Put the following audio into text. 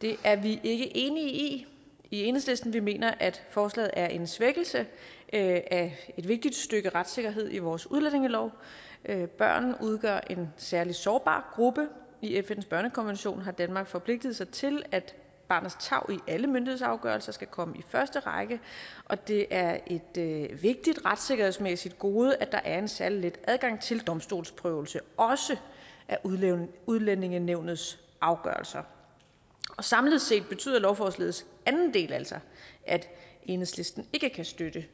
det er vi ikke enige i i enhedslisten vi mener at forslaget er en svækkelse af et vigtigt stykke retssikkerhed i vores udlændingelov børn udgør en særlig sårbar gruppe i fns børnekonvention har danmark forpligtet sig til at barnets tarv i alle myndighedsafgørelser skal komme i første række og det er et vigtigt retssikkerhedsmæssigt gode at der er en særlig let adgang til domstolsprøvelse også af udlændingenævnets afgørelser samlet set betyder lovforslagets anden del altså at enhedslisten ikke kan støtte